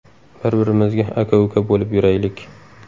Bir-birimizga aka-uka bo‘lib yuraylik.